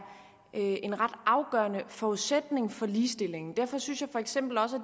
en ret afgørende forudsætning for ligestilling derfor synes jeg for eksempel også at